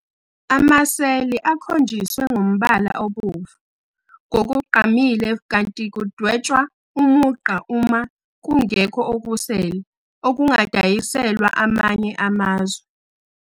Amaseli akhonjiswe ngombala obomvu ngokugqamile kanti kudwetshwa umugqa uma kungekho okusele okungadayiselwa amanye amazwe.